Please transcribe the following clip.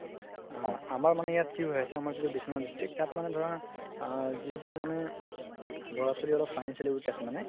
আ আমাৰ মানে ইয়াত কি হয় আছে আমাৰ যিতো district তাত মানে ধৰা আ যিবোৰ মানে ল'ৰা ছোৱালি অলপ financially week আছে মানে